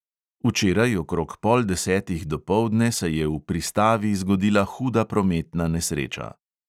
Včeraj okrog pol desetih dopoldne se je v pristavi zgodila huda prometna nesreča.